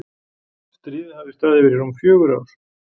Stríðið hafði staðið yfir í rúm fjögur ár.